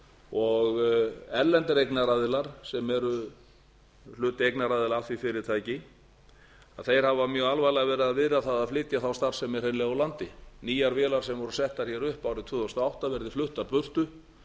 og erlendir eignaraðilar sem eru hluti eignaraðila að því fyrirtæki hafa mjög alvarlega verið að viðra það að flytja þá starfsemi hreinlega úr landi nýjar vélar sem voru settar hér upp árið tvö þúsund og átta verði fluttar burtu